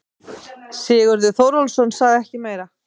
Sigurður Þórólfsson sagði ekki meira.